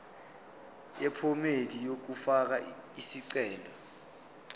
yephomedi yokufaka isicelo